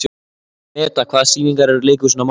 Meda, hvaða sýningar eru í leikhúsinu á mánudaginn?